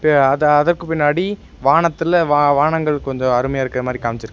அத அதற்கு பின்னாடி வானத்தில வானங்கள் கொஞ்சோ அருமையா இருக்கிற மாறி காம்ச்சிருக்காங்க.